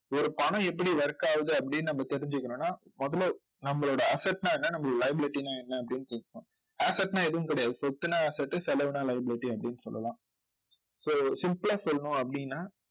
ஒரு பணம் எப்படி work ஆகுது அப்படின்னு நம்ம தெரிஞ்சுக்கணும்ன்னா முதல்ல நம்மளோட asset ன்னா என்ன நம்மளோட liability ன்னா என்ன அப்படின்னு asset ன்னா எதுவும் கிடையாது. சொத்துன்னா asset செலவுன்னா liability அப்படின்னு சொல்லலாம் so simple ஆ சொல்லணும் அப்படின்னா